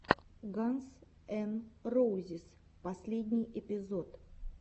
ганз эн роузиз последний эпизод